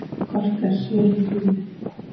Kort er svili Fíu.